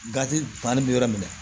Gatifani bɛ yɔrɔ min na